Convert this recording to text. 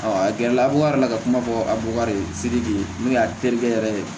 a gɛrɛ la fukari yɛrɛ ka kuma fɔ a bubakari ye n'o ye a terikɛ yɛrɛ ye